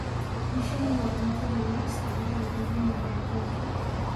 Michele waa cuntada loogu isticmaalka badan yahay adduunka